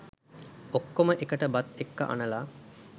ඔක්කොම එකට බත් එක්ක අනලා